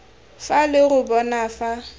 fa lo re bona fa